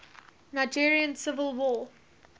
nigerian civil war